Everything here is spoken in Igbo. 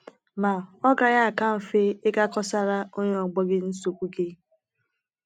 Ma ọ́ gaghị aka mfe ịga kọsara onye ọgbọ gị nsogbu gị?